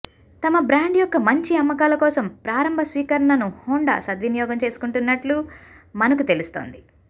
తమ బ్రాండ్ యొక్క మంచి అమ్మకాలకోసం ప్రారంభ స్వీకరణను హోండా సద్వినియోగం చేసుకుంటున్నట్లు మనకు తెలుస్తోంది